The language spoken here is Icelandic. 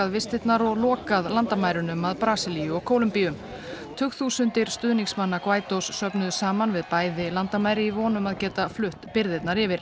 vistirnar og lokað landamærunum að Brasilíu og Kólumbíu tugþúsundir stuðningsmanna söfnuðust saman við bæði landamæri í von um að geta flutt birgðirnar yfir